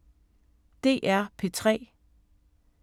DR P3